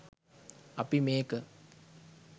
අපි මේක